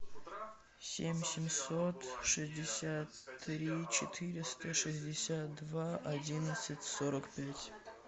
семь семьсот шестьдесят три четыреста шестьдесят два одиннадцать сорок пять